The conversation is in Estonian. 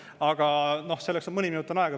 Aga selleks on mõni minut veel aega.